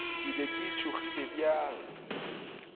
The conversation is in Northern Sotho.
ke be ke tšhogile bjang